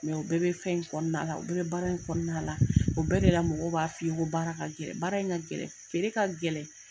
u bɛɛ bɛ fɛn kɔnɔ, u bɛɛ bɛ baara, o bɛɛ de la mɔgɔ b'a fɔ ye ko baara ka gɛlɛn, baara in ka gɛlɛn, feere ka gɛlɛn.